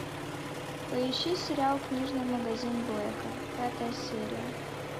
поищи сериал книжный магазин блэка пятая серия